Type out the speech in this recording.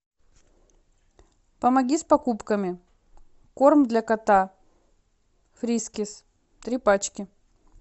помоги с покупками корм для кота фрискис три пачки